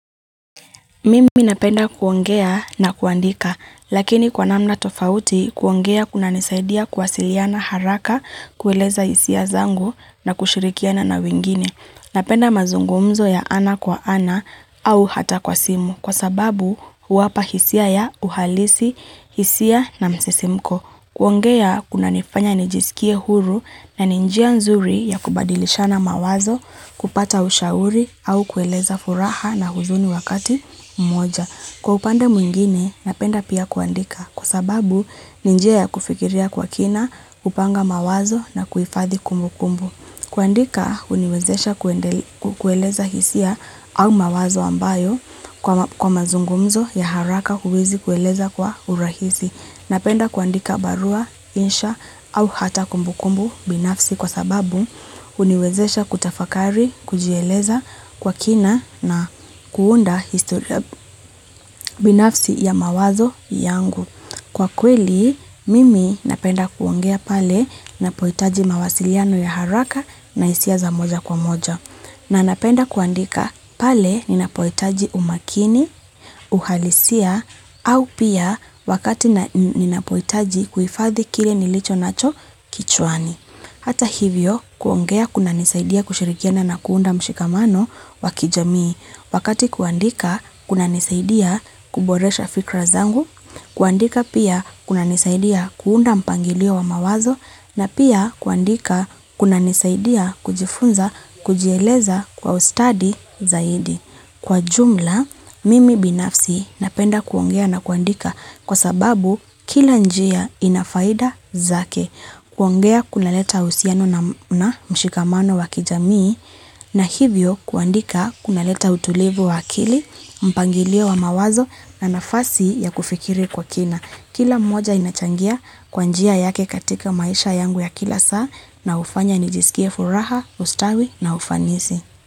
Mimi napenda kuongea na kuandika, lakini kwa namna tofauti kuongea kuna nisaidia kuwasiliana haraka, kueleza hisia zangu na kushirikiana na wengine Napenda mazungumzo ya ana kwa ana au hata kwa simu kwa sababu huwapa hisia ya uhalisi, hisia na msisimko. Kuongea kuna nifanya nijisikie huru na ninjia nzuri ya kubadilishana mawazo kupata ushauri au kueleza furaha na huzuni wakati mmoja. Kwa upande mwingine napenda pia kuandika kwasababu ni njia ya kufikiria kwa kina kupanga mawazo na kuhifathi kumbu kumbu. Kuandika huniwezesha kueleza hisia au mawazo ambayo kwa mazungumzo ya haraka huwezi kueleza kwa urahisi. Napenda kuandika barua, insha au hata kumbukumbu binafsi kwa sababu huniwezesha kutafakari, kujieleza kwa kina na kuunda historia binafsi ya mawazo yangu. Kwa kweli, mimi napenda kuongea pale napohitaji mawasiliano ya haraka na hisia za moja kwa moja. Na napenda kuandika pale ninapohitaji umakini, uhalisia, au pia wakati ninapohitaji kuhifadhi kile nilicho nacho kichwani. Hata hivyo, kuongea kuna nisaidia kushirikiana na kuunda mshikamano wakijamii wakati kuandika kuna nisaidia kuboresha fikra zangu, kuandika pia kuna nisaidia kuunda mpangilio wa mawazo na pia kuandika kuna nisaidia kujifunza kujieleza kwa ustadi zaidi. Kwa jumla, mimi binafsi napenda kuongea na kuandika kwa sababu kila njia ina faida zake. Kuongea kuna leta uhusiano na mshikamano wa kijamii na hivyo kuandika kuna leta utulivu wa akili, mpangilio wa mawazo na nafasi ya kufikiri kwa kina. Kila moja inachangia kwanjia yake katika maisha yangu ya kila saa na ufanya nijisikia furaha, ustawi na ufanisi.